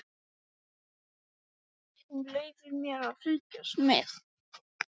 Þú leyfir mér að fylgjast með.